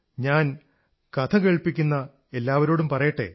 ഞാൻ കഥ കേൾപ്പിക്കുന്ന എല്ലാവരോടും പറയട്ടെ